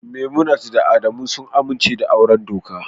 Memunant da Adamu sun amince da auren doka